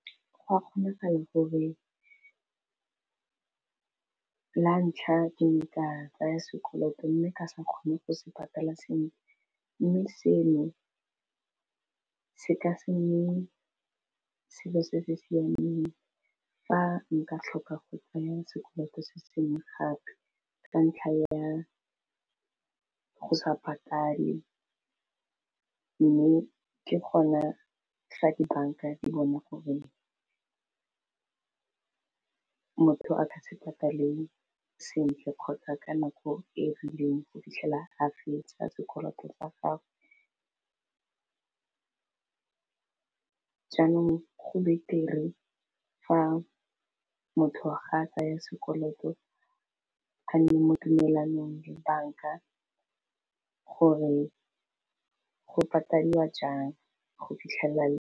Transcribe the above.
Gwa kgonegala gore lantlha ke tla tsaya sekoloto mme ke sa kgone go se patela sentle mme seno se ka senye selo se se siameng fa nka tlhoka go tsenya sekoloto se sengwe gape, ka ntlha ya go sa patale mme ke gona fa dibanka di bona gore motho a ka tshepagale sentle kgotsa ka nako e rileng go fitlhela a fetsa sekoloto sa gagwe jaanong go betere fa motho ga a tsaya sekoloto a nne mo tumalanong dibanka gore go paliwa jang go fitlhelela.